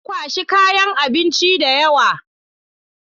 Na kwashi kayan abinci da yawa.